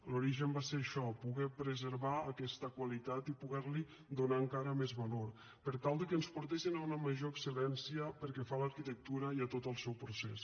l’origen va ser això poder preservar aquesta qualitat i poder li donar encara més valor per tal de que ens portessin a una major excel·lència pel que fa a l’arquitectura i a tot el seu procés